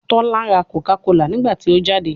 Tola ra Coca Cola nigbati o jade